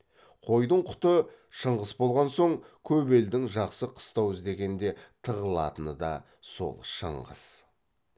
қойдың құты шыңғыс болған соң көп елдің жақсы қыстау іздегенде тығылатыны да сол шыңғыс